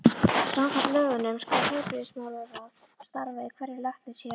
Samkvæmt lögunum skal heilbrigðismálaráð starfa í hverju læknishéraði.